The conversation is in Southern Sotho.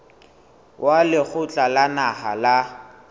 wa lekgotla la naha la